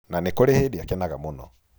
Na nĩ kũrĩ hĩndĩ akenaga mũno.